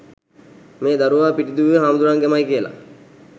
මේ දරුවා පිටිදුවේ හාමුදුරුවන්ගෙමයි කියලා.